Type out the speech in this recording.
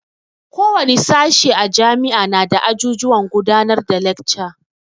Ko wane sashi a jami'a nada ajujuwan gudanar da lekca.